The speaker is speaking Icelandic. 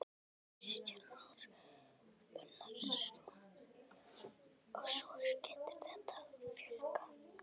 Kristján Már Unnarsson: Og svo getur þetta fjölgað?